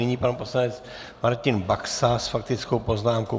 Nyní pan poslanec Martin Baxa s faktickou poznámkou.